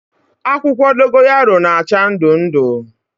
Akwukwo dogoyaro na-acha ndu ndu